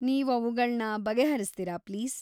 ನೀವ್‌ ಅವುಗಳನ್ನ ಬಗೆ ಹರಿಸ್ತೀರಾ ಪ್ಲೀಸ್?